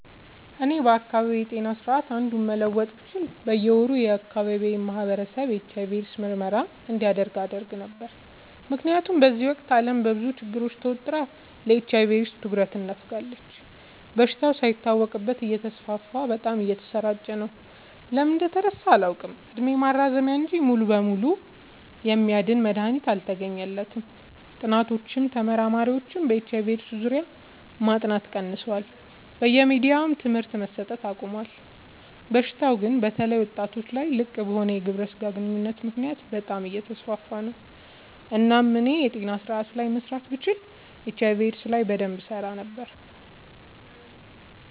እኔ ከአካባቢዬ ጤና ስርዓት አንዱን መለወጥ ብችል በየ ወሩ የአካባቢው ማህበረሰብ የኤች/አይ/ቪ ኤድስ ምርመራ እንዲያደርግ አደረግ ነበር። ምክንያቱም በዚህ ወቅት አለም በብዙ ችግር ተወጥራ ለኤች/አይ/ቪ ኤድስ ትኩረት ነፋጋለች። በሽታው ሳይታወቅበት እተስፋፋ በጣም እየተሰራጨ ነው። ለምን እንደተረሳ አላውቅ እድሜ ማራዘሚያ እንጂ ሙሉ በሙሉ የሚያድን መድሀኒት አልተገኘለትም ጥኒዎችም ተመራማሪዎችም በኤች/አይ/ቪ ኤድስ ዙሪያ ማጥናት ቀንሰዋል በየሚዲያውም ትምህርት መሰት አቆሞል። በሽታው ግን በተለይ ወጣቶች ላይ ልቅበሆነ ግብረ ስጋ ግንኙነት ምክንያት በጣም አየተስፋፋ ነው። እናም እኔ የጤና ስረአቱ ላይ መስራት ብችል ኤች/አይ/ቪ ኤድስ ላይ በደንብ እሰራ ነበር።